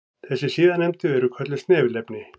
Þessi síðarnefndu eru kölluð snefilefni.